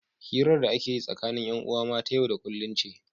hirar da ake yi tsakanin 'yan'uwa ma ta yau da kullum ce